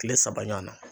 Kile saba ɲɔgɔn na